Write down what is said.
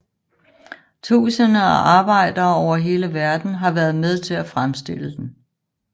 Tusinder af arbejdere over hele verden har været med til at fremstille den